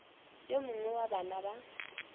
yo mongwe wa bana ba